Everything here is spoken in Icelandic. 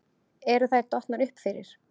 Eru þær dottnar upp fyrir?